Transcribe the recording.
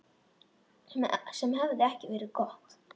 Sem hefði ekki verið gott.